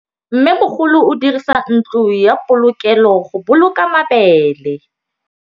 Mmêmogolô o dirisa ntlo ya polokêlô, go boloka mabele.